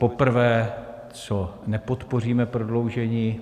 Poprvé, co nepodpoříme prodloužení.